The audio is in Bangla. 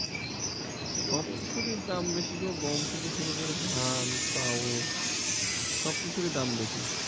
সব কিছুরই দাম বেশি গো গম থেকে শুরু করে ধান চাউল সব কিছুরই দাম বেশি।